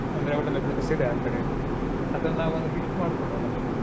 ಅಂದ್ರೆ ಒಳ್ಳೊಳ್ಳೆ place ಇದೆ ಆ ಕಡೆ ಅದನ್ನ ನಾವ್ ಒಂದ್ list ಮಾಡ್ಕೊಳುವ ಮೊದ್ಲು.